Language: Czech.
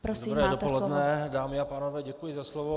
Dobré dopoledne, dámy a pánové, děkuji za slovo.